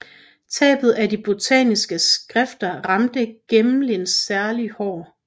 Tabet af de botaniske skrifter ramte Gmelin særlig hård